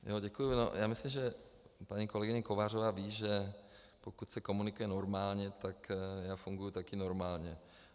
Já myslím, že paní kolegyně Kovářová ví, že pokud se komunikuje normálně, tak já funguji také normálně.